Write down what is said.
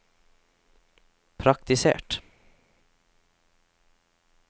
praktisert